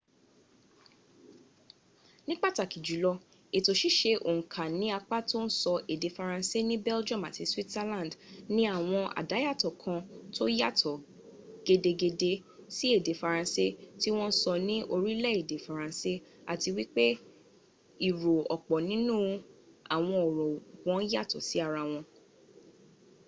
ni pataki julo eto sise onka ni apa to n so ede faranse ni belgium ati switzerland ni awon adayato kan to yato gedegede si ede faranse ti won n so ni orile ede faranse ati wipe iro opo ninu awon oro won yato si ara won